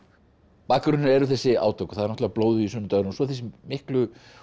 bakgrunnurinn er þessi átök og náttúrulega blóðugi sunnudagurinn og svo þessi miklu